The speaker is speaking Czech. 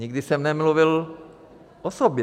Nikdy jsem nemluvil o sobě.